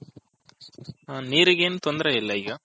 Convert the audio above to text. ನೀರಿಗೆ ಏನು ತೊಂದರೆ ಇಲ್ಲ ಈಗ.